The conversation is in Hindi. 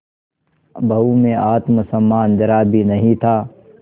बहू में आत्म सम्मान जरा भी नहीं था